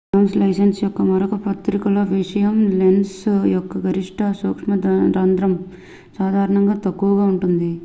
Zoom లెన్స్ల యొక్క మరొక ప్రతికూల విషయం లెన్స్ యొక్క గరిష్ట సూక్ష్మరంద్రం వేగం సాధారణంగా తక్కువగా ఉంటుంది